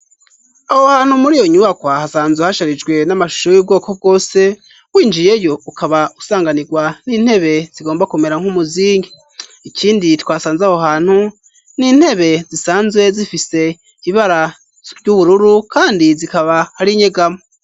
Aho hantu muri iyo nyubakwa, hasanzwe hasharijwe n'amashusho y'ubwoko bwose, winjiyeyo ukaba usanganirwa n'intebe zigomba kumera nk'umuzingi, ikindi twasanze aho hantu n'intebe zisanzwe zifise ibara ry'ubururu, kandi zikaba hari nyegamo.